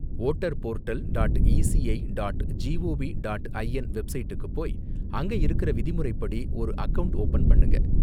Voter portal dot ECI dot G O V dot I N வெப்சைட்டுக்கு போய் அங்க இருக்கிற விதிமுறைப்படி ஒரு அகவுண்ட் ஓபன் பண்ணுங்க.